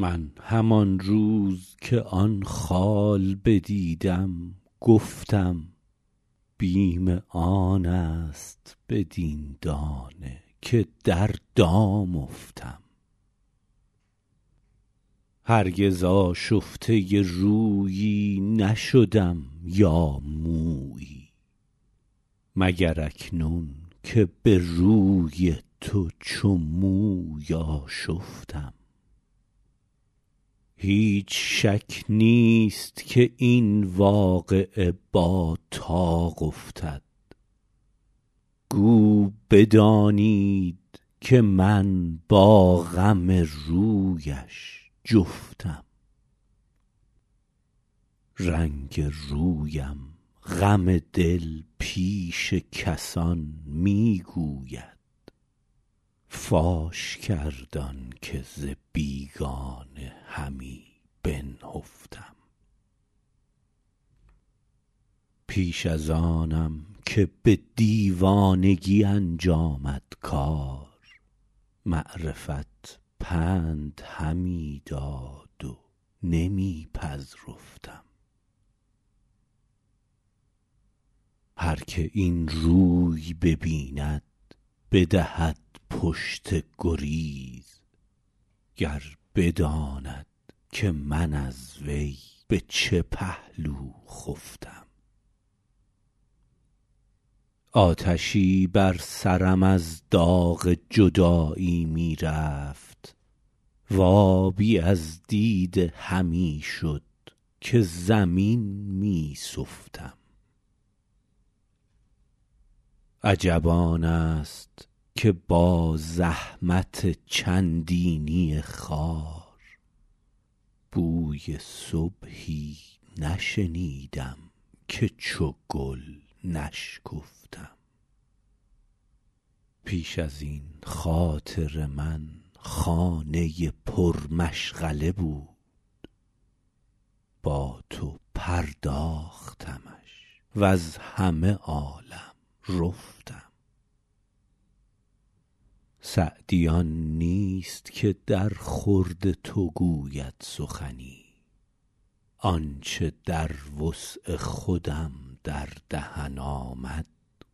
من همان روز که آن خال بدیدم گفتم بیم آن است بدین دانه که در دام افتم هرگز آشفته رویی نشدم یا مویی مگر اکنون که به روی تو چو موی آشفتم هیچ شک نیست که این واقعه با طاق افتد گو بدانید که من با غم رویش جفتم رنگ رویم غم دل پیش کسان می گوید فاش کرد آن که ز بیگانه همی بنهفتم پیش از آنم که به دیوانگی انجامد کار معرفت پند همی داد و نمی پذرفتم هر که این روی ببیند بدهد پشت گریز گر بداند که من از وی به چه پهلو خفتم آتشی بر سرم از داغ جدایی می رفت و آبی از دیده همی شد که زمین می سفتم عجب آن است که با زحمت چندینی خار بوی صبحی نشنیدم که چو گل نشکفتم پیش از این خاطر من خانه پرمشغله بود با تو پرداختمش وز همه عالم رفتم سعدی آن نیست که درخورد تو گوید سخنی آن چه در وسع خودم در دهن آمد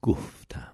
گفتم